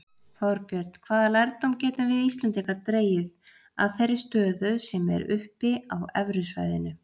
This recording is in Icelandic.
Þorbjörn, hvaða lærdóm getum við Íslendingar dregið að þeirri stöðu sem er uppi á evrusvæðinu?